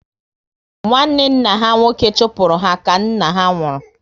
Nwanne nna ha nwoke chụpụrụ ha ka nna ha nwụrụ